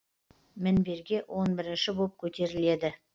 мінберге он бірінші боп көтеріледі